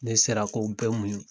Ne sera k'o bɛɛ muɲu.